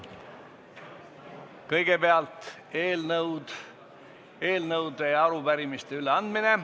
Kõigepealt on eelnõude ja arupärimiste üleandmine.